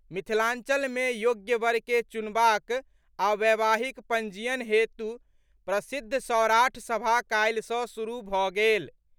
मिथिलांचल मे योग्य वर के चुनबाक आ वैवाहिक पंजीयन हेतु प्रसिद्ध सौराठ सभा काल्हि सॅ शुरू भऽ गेल।